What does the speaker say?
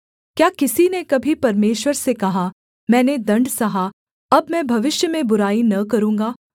क्या किसी ने कभी परमेश्वर से कहा मैंने दण्ड सहा अब मैं भविष्य में बुराई न करूँगा